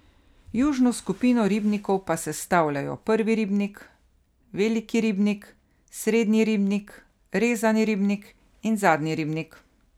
Južno skupino ribnikov pa sestavljajo Prvi ribnik, Veliki ribnik, Srednji ribnik, Rezani ribnik in Zadnji ribnik.